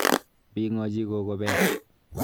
Bing'ochi koko peek.